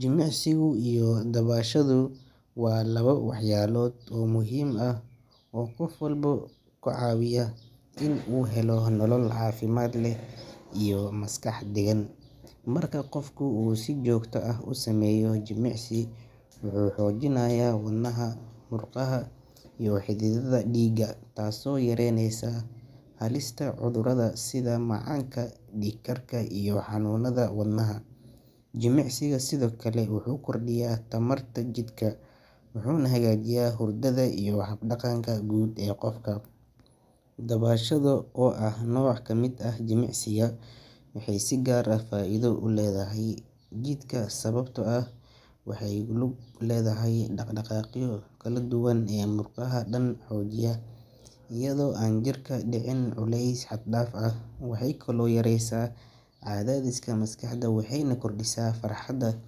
Jimicsiga iyo dabashadu waa laba waxyaalood oo muhiim ah oo qof walba ka caawiya in uu helo nolol caafimaad leh iyo maskax deggan. Marka qofku uu si joogto ah u sameeyo jimicsi, wuxuu xoojinayaa wadnaha, murqaha iyo xididdada dhiigga, taasoo yareynaysa halista cudurrada sida macaanka, dhiigkarka iyo xanuunnada wadnaha. Jimicsigu sidoo kale wuxuu kordhiyaa tamarta jidhka, wuxuuna hagaajiyaa hurdada iyo hab-dhaqanka guud ee qofka. Dabashadu, oo ah nooc ka mid ah jimicsiga, waxay si gaar ah faa’iido ugu leedahay jidhka sababtoo ah waxay ku lug leedahay dhaqdhaqaaqyo kala duwan oo murqaha dhan xoojiya iyadoo aan jirku ku dhicin culays xad dhaaf ah. Waxay kaloo yareysaa cadaadiska maskaxda waxayna kordhisaa farxadda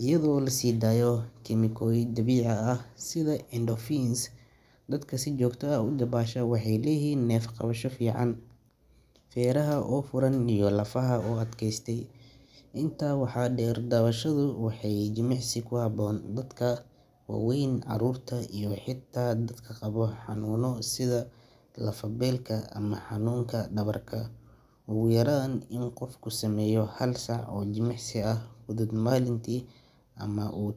iyadoo la sii daayo kiimikooyin dabiici ah sida endorphins. Dadka si joogto ah u dabaasha waxay leeyihiin neef-qabasho fiican, feeraha oo furan iyo lafaha oo adkaystay. Intaa waxaa dheer, dabashadu waa jimicsi ku habboon dadka waaweyn, carruurta iyo xitaa dadka qaba xanuunno sida lafo-beelka ama xanuunka dhabarka. Ugu yaraan in qofku sameeyo hal saac oo jimicsi fudud maalintii, ama uu.